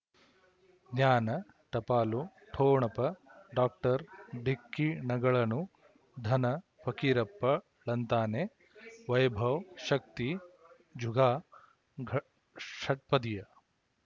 ಜ್ಞಾನ ಟಪಾಲು ಠೊಣಪ ಡಾಕ್ಟರ್ ಢಿಕ್ಕಿ ಣಗಳನು ಧನ ಫಕೀರಪ್ಪ ಳಂತಾನೆ ವೈಭವ್ ಶಕ್ತಿ ಝುಗಾ ಗ ಷಟ್ಪದಿಯ